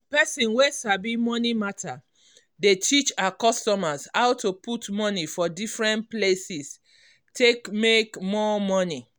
person wey sabi moni matter dey teach her customers how to put money for different places take make more money.